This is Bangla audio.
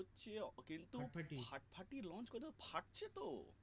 হচ্ছে কিন্তু ফাটাফাটি launch করলে ফাটছে তো